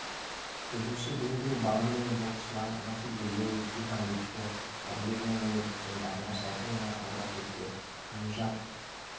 жүзуші дмитрий баландин боксшылар василий левит иван дычко әділбек ниязымбетов пен дариға шәкімова ауыр атлеттер нижат